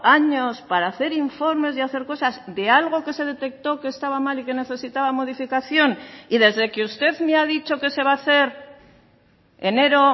años para hacer informes y hacer cosas de algo que se detectó que estaba mal y que necesitaba modificación y desde que usted me ha dicho que se va a hacer enero